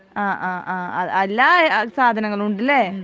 അഹ് ആഹ് ആ എല്ലാ സാധനങ്ങളും ഉണ്ട് ലെ